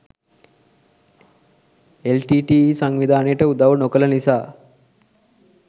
LTTE. සංවිධානයට උදව් නොකළ නිසා